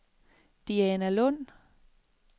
Dianalund